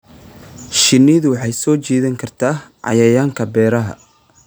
Shinnidu waxay soo jiidan kartaa cayayaanka beeraha.